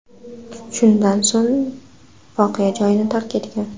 Shundan so‘ng voqea joyini tark etgan.